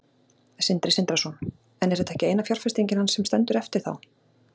Sindri Sindrason: En er þetta ekki eina fjárfestingin hans sem stendur eftir þá?